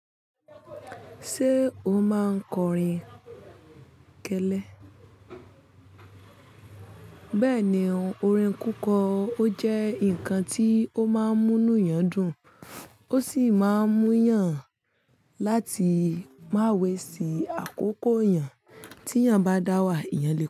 Ṣé o máa ń kọrin kẹlẹ? Bẹ́ẹ̀ ni, orin kíkọ ó jẹ́ nǹkan tí ó máa ń múniyan dùn ó sì máa ń múu yàn láti má waist àkókò yàn tí eyàn bá dá wà, eyàn lè kọ.